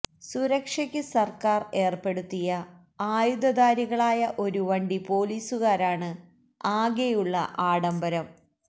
സുരക്ഷക്ക് സര്ക്കാര് ഏര്പ്പെടുത്തിയ ആയുധധാരികളായ ഒരു വണ്ടി പോലീസുകാരാണ് ആകെയുള്ള ആഡംബരം